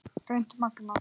Hreint magnað!